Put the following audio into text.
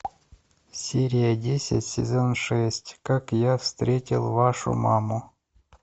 серия десять сезон шесть как я встретил вашу маму